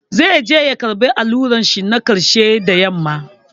Zai je ya karɓi allurar shi na ƙarshe da yamma.